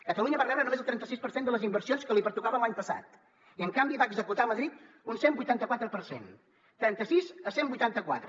catalunya va rebre només el trenta sis per cent de les inversions que li pertocaven l’any passat i en canvi se’n van executar a madrid un cent i vuitanta quatre per cent trenta sis a cent i vuitanta quatre